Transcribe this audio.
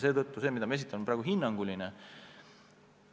Seetõttu on minu arvamus praegu hinnanguline.